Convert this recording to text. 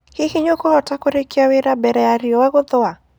Hihi nĩũkũhota kũrĩkĩa wĩra mbere ya rĩũa gũthũa?